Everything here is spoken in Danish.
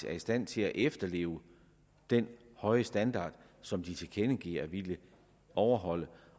er i stand til at efterleve den høje standard som de tilkendegiver at ville overholde